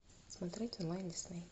смотреть онлайн дисней